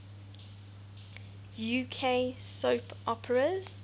uk soap operas